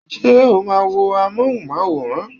Ṣé o máa wo amóhùnmáwòrán?